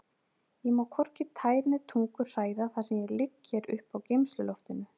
Ég má hvorki tær né tungu hræra þar sem ég ligg hér uppi á geymsluloftinu.